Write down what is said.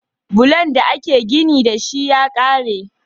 Bulon da ake gini dashi ya kare